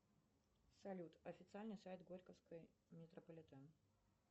салют официальный сайт горьковский метрополитен